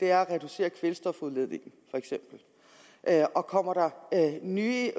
er at reducere kvælstofudledningen og kommer der nye